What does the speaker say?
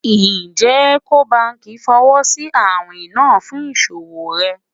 Njẹ Eco Bank fọwọsi awin naa fun iṣowo rẹ?